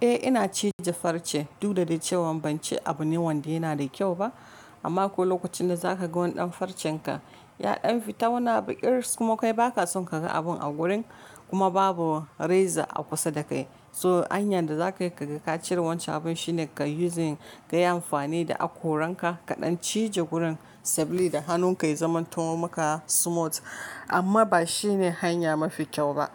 Eh ina cije farce, du da dai cewa ban ci abu ne wanda yana da kyau ba. Amma ko lokacin da za ka ga wani ɗan farcenka, yaɗan fita wuna baƙi kuma kai ba ka son ka ga abun a gurin kuma babu reza a kusa da kai. So hanyar da za ka yi ka ga ka cire wancan abun shine ka yi kayi amfani da hakoranka kaɗan cije gurin sabli da hannunka ya zamanto maka smooth. Amma ba shi ne hanya mafi kyau ba.